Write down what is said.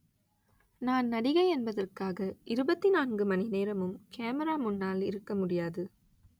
நான் நடிகை என்பதற்காக இருபத்தி நான்கு மணி நேரமும் கேமரா முன்னால் இருக்க முடியாது